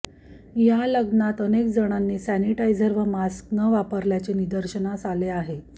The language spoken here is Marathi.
या लग्नात अनेक जणांनी सॅनिटायझर व मास्क न वापरल्याचे निदर्शनास आले आहे